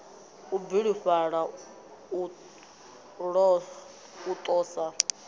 u bilufhala u ḓo sa